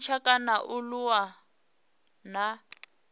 tshintsha kana a aluwa na